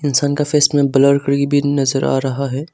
इंसान का फेस पर ब्लर भी नजर आ रहा है।